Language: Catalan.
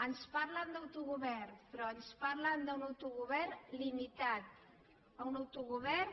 ens parlen d’autogovern però ens parlen d’un autogovern limitat un autogovern